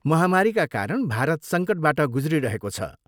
महामारीका कारण भारत सङ्कटबाट गुज्रिरहेको छ।